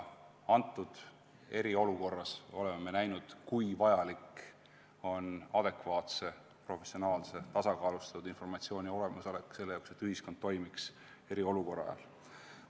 Antud eriolukorras oleme me näinud, kui vajalik on adekvaatse, professionaalse, tasakaalustatud informatsiooni olemasolu selle jaoks, et ühiskond eriolukorra ajal toimiks.